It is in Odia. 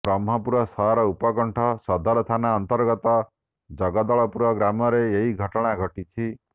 ବ୍ରହ୍ମପୁର ସହର ଉପକଣ୍ଠ ସଦର ଥାନା ଅନ୍ତର୍ଗତ ଜଗଦଳପୁର ଗ୍ରାମରେ ଏହି ଘଟଣା ଘଟିଛି